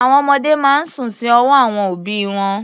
Àwọn ọmọdé máa ń sùn sí ọwọ́ àwọn òbí wọn.